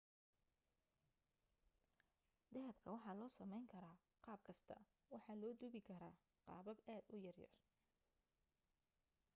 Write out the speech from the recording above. dahabka waxaa loo sameyn karaa qaabkasta waxaa loo duubi karaa qaabab aad u yar yar